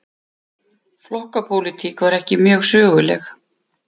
Flokkapólitík var ekki mjög söguleg.